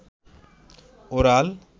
oral